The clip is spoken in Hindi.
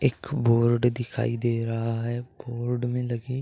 एक बोर्ड दिखाई दे रहा है। बोर्ड मे लगे --